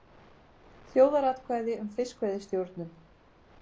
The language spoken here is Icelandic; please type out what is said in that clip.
Þjóðaratkvæði um fiskveiðistjórnun